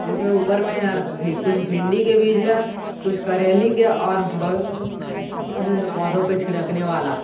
इसमें ऊपर मे कुछ भिंडी के बीज है कुछ करेली के और बगल वाले में कुछ दवा भी है पौधों पर छिड़कने वाला।